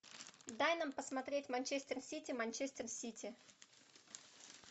дай нам посмотреть манчестер сити манчестер сити